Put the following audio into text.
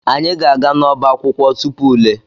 Anyị ga-aga n'ọbá akwụkwọ tupu ule.